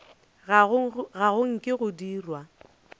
ga go nke go dirwa